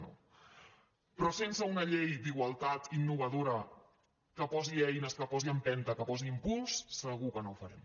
però sense una llei d’igualtat innovadora que posi eines que posi empen·ta que posi impuls segur que no ho farem